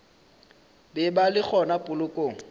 be ba le gona polokong